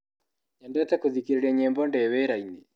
Nyendete gũthikĩrĩria nyĩmbo ndĩ wĩrainĩ.